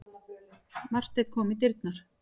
Marteinn kom í dyrnar.